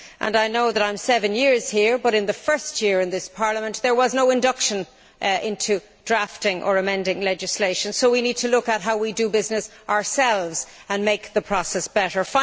I know that I have been here seven years now, but in the first year in this Parliament there was no induction into drafting or amending legislation, so we need to look at how we do business ourselves and make the process better.